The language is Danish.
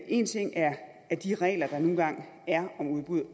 en ting er er de regler der nu engang er om udbud